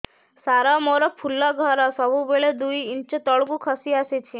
ସାର ମୋର ଫୁଲ ଘର ସବୁ ବେଳେ ଦୁଇ ଇଞ୍ଚ ତଳକୁ ଖସି ଆସିଛି